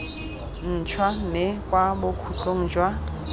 ntšhwa mme kwa bokhutlong jwa